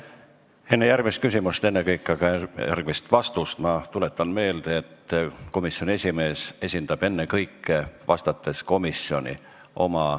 Enne järgmist küsimust, ennekõike aga järgmist vastust ma tuletan meelde, et komisjoni esimees esindab vastates ennekõike komisjoni.